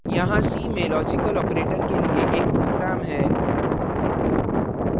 यहाँ c में logical operators के लिए एक program है